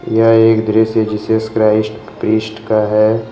यह एक दृश्य जीसस क्राइस्ट प्रीस्ट का है।